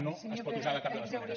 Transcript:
no es pot usar de cap de les maneres